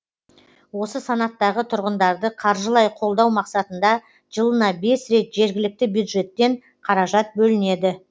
осы санаттағы тұрғындарды қаржылай қолдау мақсатында жылына бес рет жергілікті бюджеттен қаражат бөлінеді